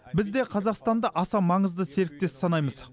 біз де қазақстанды аса маңызды серіктес санаймыз